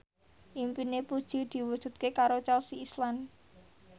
impine Puji diwujudke karo Chelsea Islan